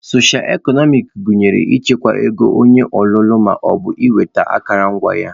Socio eknomic gụnyere ịchịkwa ego onye ọlụlụ ma ọ bụ ịnweta akụrụngwa